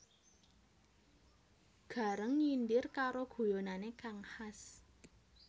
Gareng nyindir karo guyonane kang khas